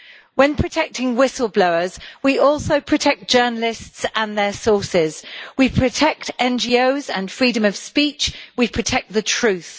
When protecting whistle-blowers, we also protect journalists and their sources, we protect NGOs and freedom of speech, and we protect the truth.